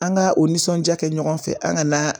An ka o nisɔndiya kɛ ɲɔgɔn fɛ an ka na